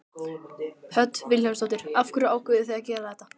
Hödd Vilhjálmsdóttir: Af hverju ákváðuð þið að gera þetta?